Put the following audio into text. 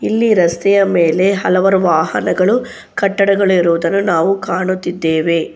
ಇಲ್ಲಿ ರಸ್ತೆಯ ಮೇಲೆ ಹಲವರು ವಾಹನಗಳು ಕಟ್ಟಡಗಳು ಇರುವುದನ್ನು ನಾವು ಕಾಣುತ್ತಿದ್ದೇವೆ.